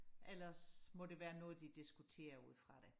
ellers må det være noget de diskuterer ud fra det